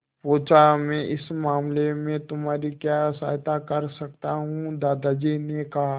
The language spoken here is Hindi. पूछा मैं इस मामले में तुम्हारी क्या सहायता कर सकता हूँ दादाजी ने कहा